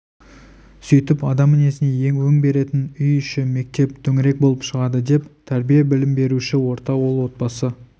сүйтіп адам мінезіне өң беретін үй іші мектеп төңірек болып шығады деп тәрбие білім беруші орта ол отбасы